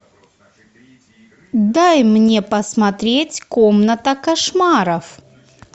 дай мне посмотреть комната кошмаров